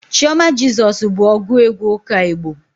Chioma Jesus bụ ọgụ egwu ụka Igbo.